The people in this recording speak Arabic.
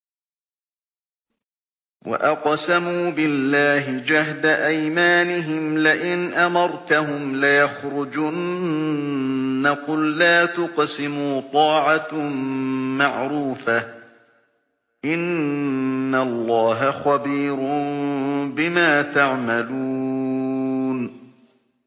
۞ وَأَقْسَمُوا بِاللَّهِ جَهْدَ أَيْمَانِهِمْ لَئِنْ أَمَرْتَهُمْ لَيَخْرُجُنَّ ۖ قُل لَّا تُقْسِمُوا ۖ طَاعَةٌ مَّعْرُوفَةٌ ۚ إِنَّ اللَّهَ خَبِيرٌ بِمَا تَعْمَلُونَ